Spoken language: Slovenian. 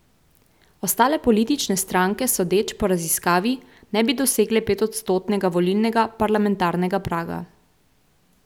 Ostale politične stranke sodeč po raziskavi ne bi dosegle petodstotnega volilnega parlamentarnega praga.